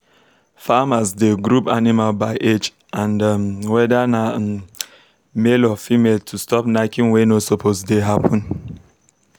farmers dey group animals by age and um whether na um male or female to stop knacking wey no suppose dey happen.